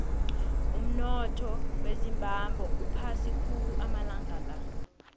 umunotho wezimbabwe uphasi khulu amalanga la